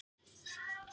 Hafliði